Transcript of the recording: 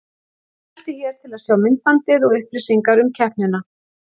Smelltu hér til að sjá myndbandið og upplýsingar um keppnina